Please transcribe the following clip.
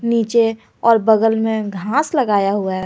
नीचे और बगल में घास लगाया हुआ है।